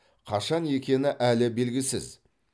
қашан екені әлі белгісіз